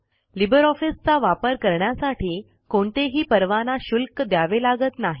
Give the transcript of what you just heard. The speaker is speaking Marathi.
लिबर ऑफिसचा वापर करण्यासाठी कोणतेही परवाना शुल्क द्यावे लागत नाही